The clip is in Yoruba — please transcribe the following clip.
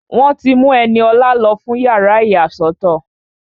Wọ́n ti mú Ẹniọlá lọ fún yàrá ìyàsọ́tọ̀